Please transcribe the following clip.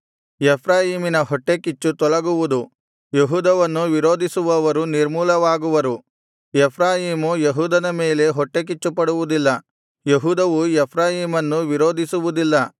ಎಫ್ರಾಯೀಮಿನ ಹೊಟ್ಟೆಕಿಚ್ಚು ತೊಲಗುವುದು ಯೆಹೂದವನ್ನು ವಿರೋಧಿಸುವವರು ನಿರ್ಮೂಲವಾಗುವರು ಎಫ್ರಾಯೀಮು ಯೆಹೂದದ ಮೇಲೆ ಹೊಟ್ಟೆಕಿಚ್ಚುಪಡುವುದಿಲ್ಲ ಯೆಹೂದವು ಎಫ್ರಾಯೀಮನ್ನು ವಿರೋಧಿಸುವುದಿಲ್ಲ